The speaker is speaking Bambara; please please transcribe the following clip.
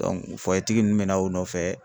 ninnu bɛna o nɔfɛ